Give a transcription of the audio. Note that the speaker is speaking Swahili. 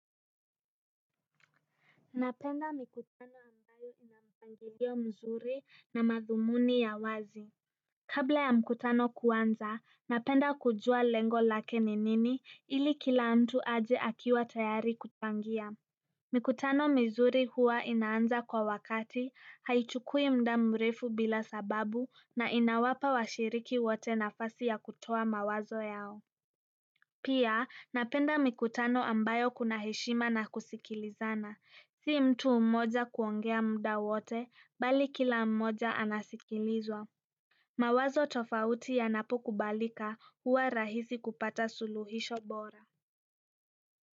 Napenda mikutano ambayo inampangilio mzuri na madhumuni ya wazi. Kabla ya mkutano kuanza, napenda kujua lengo lake ni nini ili kila mtu aje akiwa tayari kuchangia. Mikutano mizuri huwa inaanza kwa wakati, haichukui muda mrefu bila sababu na inawapa washiriki wote nafasi ya kutoa mawazo yao. Pia napenda mikutano ambayo kuna heshima na kusikilizana. Sio mtu umoja kuongea muda wote, bali kila mmoja anasikilizwa. Mawazo tofauti yanapo kubalika huwa rahisi kupata suluhisho bora.